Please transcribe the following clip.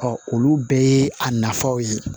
olu bɛɛ ye a nafaw ye